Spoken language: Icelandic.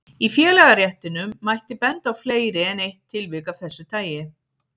Í félagaréttinum mætti benda á fleiri en eitt tilvik af þessu tagi.